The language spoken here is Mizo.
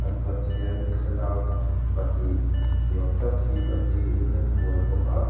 an pathian thlalak pahnih ni awm tak hi bati in an hual bawk a.